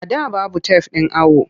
A da babu tef ɗin awo.